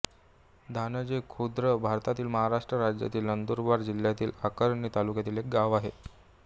धानजे खुर्द हे भारताच्या महाराष्ट्र राज्यातील नंदुरबार जिल्ह्यातील अक्राणी तालुक्यातील एक गाव आहे